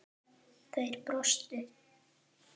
Þeir brostu.